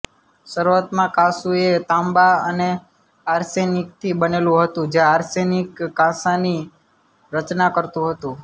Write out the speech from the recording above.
શરૂઆતમાં કાંસું એ તાંબા અને આર્સેનિકથી બનેલું હતું જે આર્સેનિક કાંસાની રચના કરતું હતું